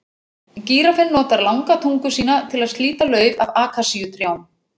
Gíraffinn notar langa tungu sína til að slíta lauf af akasíutrjám.